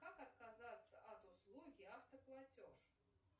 как отказаться от услуги автоплатеж